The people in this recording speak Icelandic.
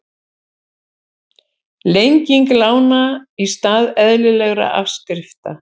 Lenging lána í stað eðlilegra afskrifta